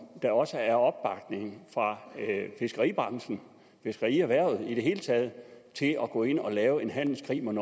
der også er opbakning fra fiskeribranchen fiskerierhvervet i det hele taget til at gå ind og lave en handelskrig mod